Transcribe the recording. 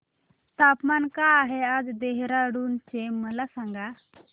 तापमान काय आहे आज देहराडून चे मला सांगा